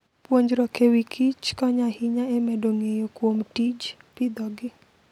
Puonjruok e wi kichkonyo ahinya e medo ng'eyo kuom tij pidhogi.